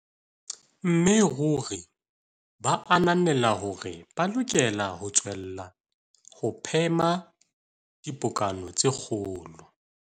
Mme ruri ba ananela hore ba lokela ho tswella ho phema dipokano tse kgolo.